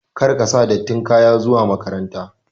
Kar ka sa dattin kaya zuwa makaranta!